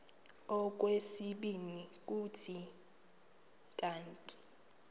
okwesibini kuthi kanti